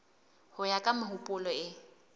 ho ya ka mehopolo e